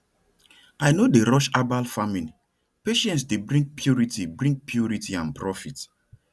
i no dey rush herbal farmingpatience dey bring purity bring purity and profit